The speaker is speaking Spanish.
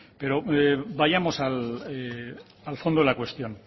pero vayamos al fondo de la cuestión